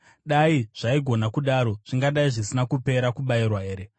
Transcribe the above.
Dai zvaigona kudaro, zvingadai zvisina kupera kubayirwa here?